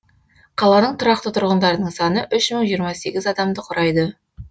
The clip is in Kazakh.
қаланың тұрақты тұрғындарының саны үш мың жиырма сегіз адамды құрайды